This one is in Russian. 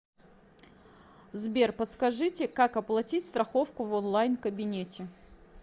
сбер подскажите как оплатить страховку в онлайн кабинете